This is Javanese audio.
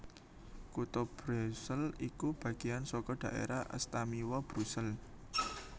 Kutha Brusel iku bagéyan saka Daerah Astamiwa Brusel